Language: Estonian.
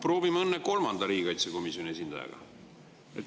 Proovime õnne riigikaitsekomisjoni kolmanda esindajaga.